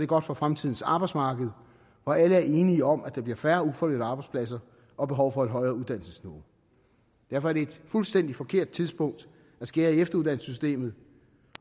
godt for fremtidens arbejdsmarked og alle er enige om at der bliver færre ufaglærte arbejdspladser og behov for et højere uddannelsesniveau derfor er det et fuldstændig forkert tidspunkt at skære i efteruddannelsessystemet